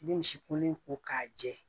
I bɛ misi kolon ko k'a jɛ